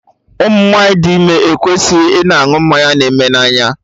Ụmụ nwanyị dị ime ekwesịghị ịnụ mmanya na-eme n'anya